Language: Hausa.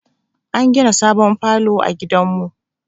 An gina sabon falo a gidan mu